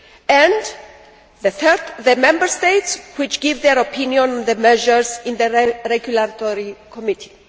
and thirdly, the Member States, which give their opinion on the measures in the regulatory committee.